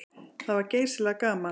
Það var geysilega gaman.